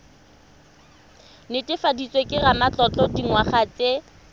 netefaditsweng ke ramatlotlo dingwaga tse